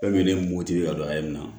Fɛn min de ye moti ka don a ye nin na